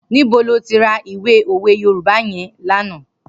Nibó ló ti rà ìwé ówé Yorùbá yèn lànã?